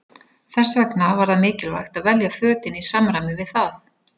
Þess vegna var það mikilvægt að velja fötin í samræmi við það.